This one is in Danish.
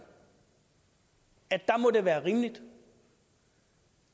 der må det være rimeligt